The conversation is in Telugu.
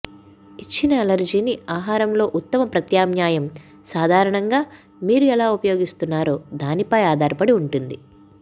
ఇచ్చిన అలెర్జీని ఆహారంలో ఉత్తమ ప్రత్యామ్నాయం సాధారణంగా మీరు ఎలా ఉపయోగిస్తున్నారో దానిపై ఆధారపడి ఉంటుంది